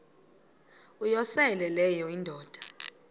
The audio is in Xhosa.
uyosele leyo indoda